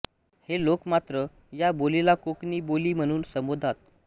हे लोक मात्र या बोलीलाकोकणी बोली म्हणून संबोधतात